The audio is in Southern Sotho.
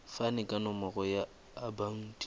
fane ka nomoro ya akhauntu